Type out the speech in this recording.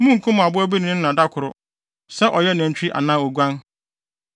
Munnkum aboa bi ne ne ba da koro, sɛ ɔyɛ nantwi anaa oguan.